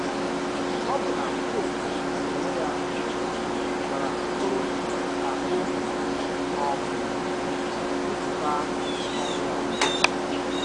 Ọbụna pope n’onwe ya gwara Okoro ka o um bipụta ọrụ ya.